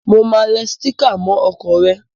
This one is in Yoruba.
Mo máa le sticker mó okò re